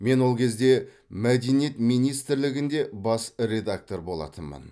мен ол кезде мәдениет министрлігінде бас редактор болатынмын